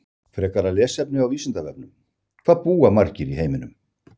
Frekara lesefni á Vísindavefnum: Hvað búa margir í heiminum?